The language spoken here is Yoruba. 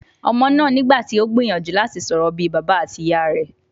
Ọmọ náà nígbà tí o gbìyànjú láti sọ̀rọ̀ bí I bàbá àti ìyá rẹ̀.